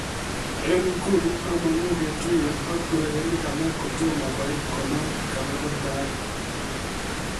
En nguni among'u ketuyen ak urerenik alak kotomo koit konam keberta age